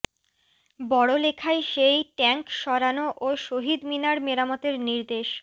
বড়লেখায় সেই ট্যাংক সরানো ও শহীদ মিনার মেরামতের নির্দেশ